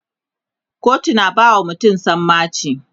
kotu na bawa mutum sammaci